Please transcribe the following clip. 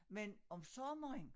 Men om sommeren